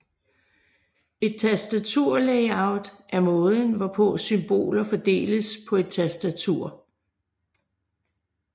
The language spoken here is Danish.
Et tastaturlayout er måden hvorpå symboler fordeles på et tastatur